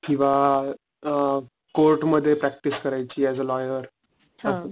किव्हा अ कोर्ट मध्ये प्रॅक्टिस करायची एस अ लॉयर.